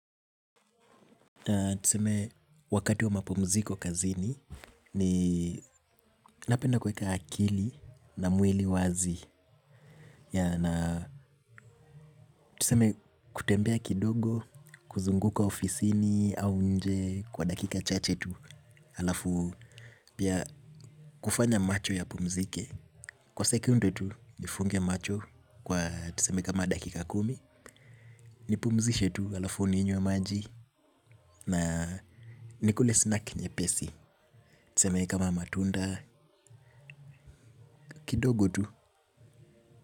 Tuseme wakati wa mapumziko kazini ni napenda kuweka akili na mwili wazi. Na tuseme kutembea kidogo kuzunguka ofisini au nje kwa dakika chache tu alafu pia kufanya macho yapumzike. Kwa sekunde tu nifunge macho kwa tuseme kama dakika kumi. Nipumzishe tu alafu ninywe maji na nikule snack nyepesi. Tuseme kama matunda, kidogo tu.